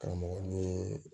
Karamɔgɔ ye